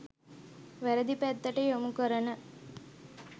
වැරැදි පැත්තට යොමු කරන